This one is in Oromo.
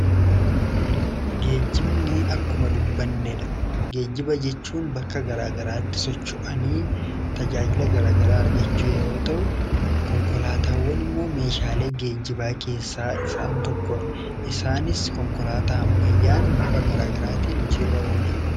geejimni akkuma dubbanneedha geejjiba jechuun bakka garaagaraatti socho'ani tajaajila garaagaraa argachuu yeroo ta'u konkolaataawwan immoo meeshaalee geejjibaa keessaa isaan tokkore isaanis konkolaataa hammayyaan bifa garaagaraatiin hojiirra oola